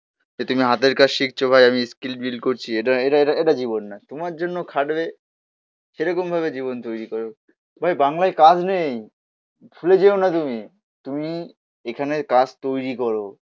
যে তুমি হাতের কাজ শিখছো ভাই আমি স্কিল বিল্ড করছি. এটা এটা এটা জীবন না. তোমার জন্য খাটবে সেরকম ভাবে জীবন তৈরি করুক. ভাই বাংলায় কাজ নেই. ভুলে যেও না তুমি. তুমি এখানের কাজ তৈরি করো.